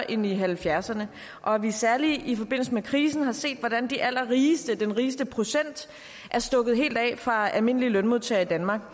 i nitten halvfjerdserne og at vi særlig i forbindelse med krisen har set hvordan de allerrigeste den rigeste procent er stukket helt af fra almindelige lønmodtagere i danmark